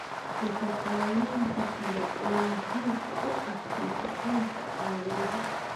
nafaqooyinka kale ee muhiimka u ah nafaqeynta aadanaha.